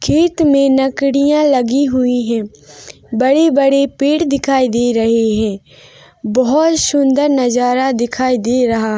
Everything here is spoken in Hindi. खेत में लकड़ियाँ लगी हुई है बड़े-बड़े पेड़ दिखाई दे रहे है बहुत सुंदर नजर देखाई दे रहा--